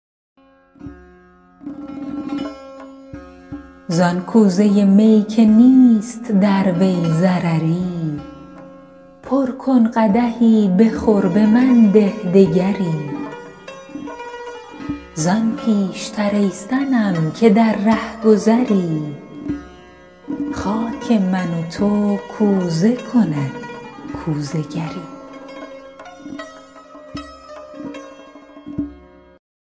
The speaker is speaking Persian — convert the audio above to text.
زان کوزه می که نیست در وی ضرری پر کن قدحی بخور به من ده دگری زان پیش تر ای صنم که در رهگذری خاک من و تو کوزه کند کوزه گری